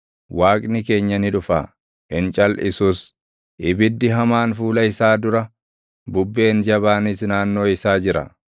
Waaqni keenya ni dhufa; hin calʼisus; ibiddi hamaan fuula isaa dura, bubbeen jabaanis naannoo isaa jira.